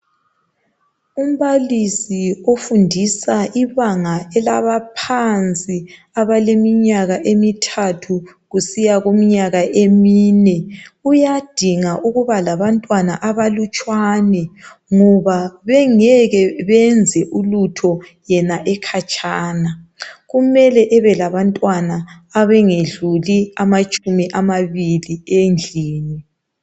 Umbalisi ofundisa ibanga elabaphansi abaleminyaka emithathu kusiya kuminyaka emine uyadinga ukubalabantwana abalutshwane ngoba bengeke beyenze ulutho yena ekhatshana. Kumele abe labantwana abangedluli amatshumi amabili endlini.